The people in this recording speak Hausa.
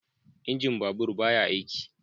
Injin babur ba ya aiki